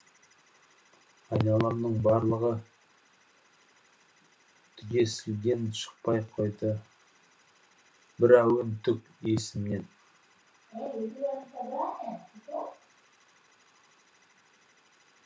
айналамның барлығы түгесілген шықпай қойды бір әуен түк есімнен